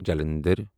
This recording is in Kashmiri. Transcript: جَلنَدھر